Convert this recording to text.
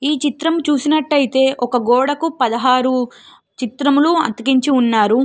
ఈ చిత్రం చూసినట్టే ఐతే ఒక గోడకు పదహారు చిత్రములు అతికించి ఉన్నారు.